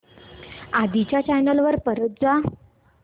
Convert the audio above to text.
आधी च्या चॅनल वर परत जा